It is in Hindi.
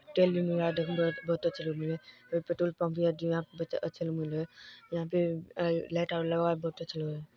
तेल भी मिला बहुत अच्छा लगरा है यहाँ पेट्रोल पंप यहाँ पे ए लाइट बहुत अच्छा लगरा है।